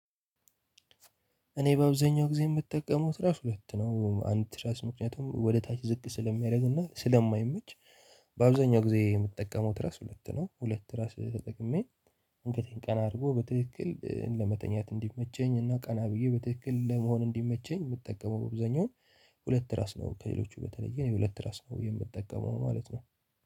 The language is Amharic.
እኔ በአብዛኛው ጊዜ የምጠቀመው ትራስ ሁለት ነው አንድ ትራስ ምክንያቱም ወደ ታች ዝቅ ስለሚያደርግና ስለማይመች። ባብዛኛው ጊዜ የምጠቀመው ትራስ ሁለት ነው። ሁለት ትራስ ተጠቅሜ አንገተን ቀና አድርጎ በትክክል ለመተኛት እንድመቸኝና ቀና ብዬ በትክክል ለመሆን እንድመቼኝ ምጠቀመው አብዛኛው ሁለት ትራስ ነው። ከሌሎቹ በተለየ እኔ ሁለት ትራስ ነው የምትጠቀመው ማለት ነው።